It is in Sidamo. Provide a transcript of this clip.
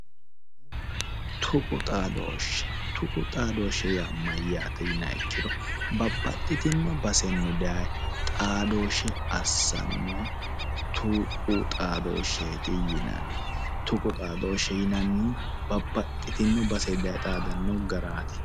Tuqu xaadooshshe. Tuqu xaadooshshi mayaate yiniha ikkiro babbaxxinno basenni daye xaadooshshe assannoha tuqu xaadooshsheeti yinanni. babbaxxitinno basenni daye xaadannowaati.